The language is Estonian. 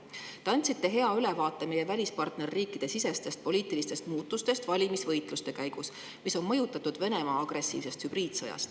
Te andsite hea ülevaate meie partnerriikide sisestest poliitilistest muutustest valimisvõitluste käigus, mida on mõjutanud Venemaa agressiivne hübriidsõda.